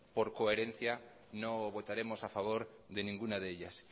por coherencia no votaremos a favor de ninguna de ellas